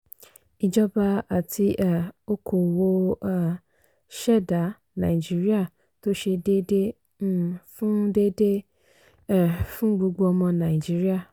ìjọba àti um okoòwò um ṣẹdá nàìjíríà tó ṣe déédéé um fún déédéé um fún gbogbo ọmọ nàìjíríà.